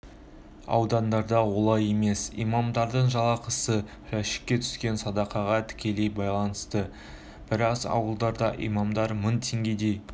ауылдарда олай емес имамдардың жалақысы жәшікке түскен садақаға тікелей байланысты біраз ауылдарда имамдар мың теңгедей